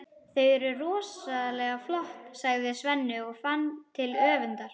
Þau eru rosalega flott, sagði Svenni og fann til öfundar.